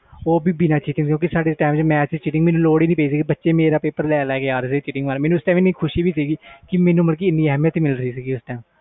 ਉਹ ਵੀ ਬਿਨਾ ਕਿਸੇ cheating ਤੋਂ ਬਚੇ ਮੇਰੇ ਕੋਲ ਆ ਰਹੇ ਸੀ ਪੇਪਰ ਕਰਨ ਮੈਨੂੰ ਬਹੁਤ ਖੁਸ਼ੀ ਹੋਈ ਸੀ ਕਿ ਮੈਨੂੰ preference ਮਿਲ ਰਹੀ ਆ